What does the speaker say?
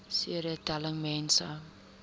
cd telling mense